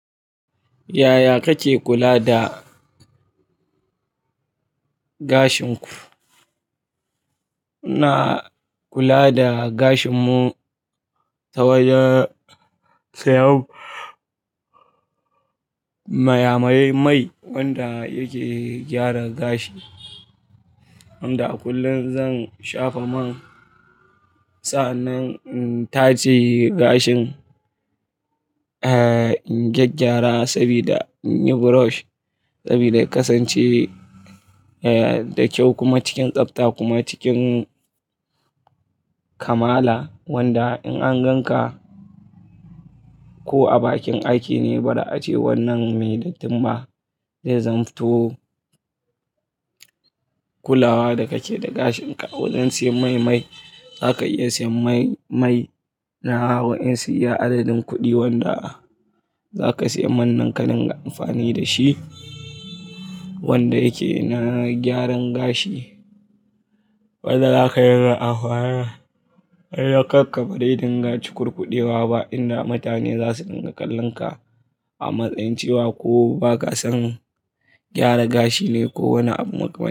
Yaya kake kula da gashin ku? Ina kula da gashin mu ta wajen siyan mayamayai, mai wanda yake gyara gashi. Wanda a kullum zan shafa man sa'annan in taje gashin, in gyaggyara sabida in yi brush sabida ya kasance da kyau kuma cikin tsafta kuma cikin kamala wanda in an gan ka ko a bakin aiki ne bara ace wannan mai dattin ba. Zai zamto kulawa da kake da gashin ka. Wajen siyan maimai zaka iya siyan mai mai, na wa'yansu iya adadin kuɗi wanda za ka siya man nan ka dinga amfani da shi wanda yake na gyaran gashi. Wanda dinga amfani dashi, kanka ba zai dinga cukurkudewa ba inda mutane zasu dinga kallon ka a matsayin cewa ko baka san gyara gashi ne ko wani abu makaman--